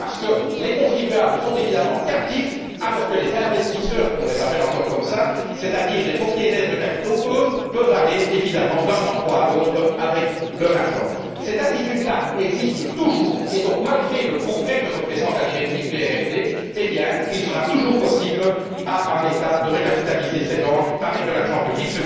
Tout cela parce que les contribuables sont évidemment captifs alors que les investisseurs car on les appelle encore ainsi c'est à dire les propriétaires de capitaux, eux, peuvent bien sûr aller d'un endroit à l'autre avec leur argent. Cette attitude existe toujours et donc, malgré le progrès que représente la directive BRRD, il sera encore possible à un État de recapitaliser ses banques avec de l'argent public.